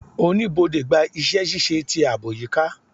Oníbodè gba iṣẹ-ṣiṣe ti aabo ayika